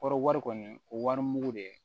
Kɔrɔ wari kɔni o wari mugu de ye